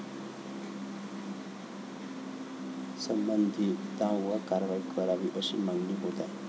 संबंधितांवर कारवाई करावी, अशी मागणी होत आहे.